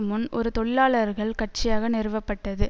முன் ஒரு தொழிலாளர்கள் கட்சியாக நிறுவப்பட்டது